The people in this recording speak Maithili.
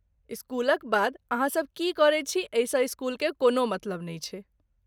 स्कूलक बाद अहाँ सभ की करैत छी एहिसँ स्कूलके कोनो मतलब नहि छै।